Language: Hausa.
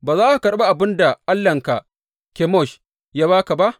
Ba za ka karɓi abin da allahnka Kemosh ya ba ka ba?